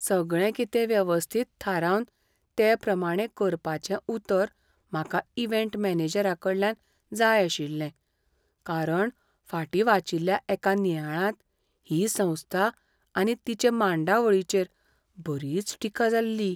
सगळें कितें वेवस्थीत थारावन तेप्रमाणें करपाचें उतर म्हाका इव्हँट मॅनेजरााकडल्यान जाय आशिल्लें. कारण फाटीं वाचिल्ल्या एका नियाळांत ही संस्था आनी तिचे मांडावळीचेर बरीच टिका जाल्ली.